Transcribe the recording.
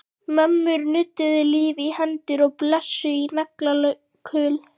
Mömmur nudduðu lífi í hendur og blésu í naglakul.